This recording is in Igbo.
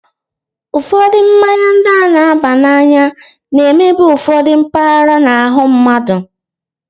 Ụfọdụ mmanya ndị a na-aba n'anya na-emebi ụfọdụ mpaghara n'ahụ mmadụ.